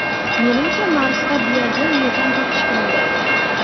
Menimcha, Marsda biogen metan topishgandi.